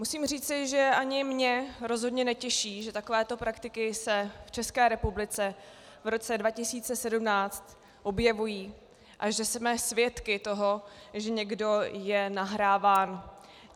Musím říci, že ani mě rozhodně netěší, že takovéto praktiky se v České republice v roce 2017 objevují a že jsme svědky toho, že je někdo nahráván.